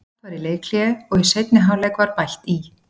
Jafnt var í leikhléi og í seinni hálfleik var bætt í.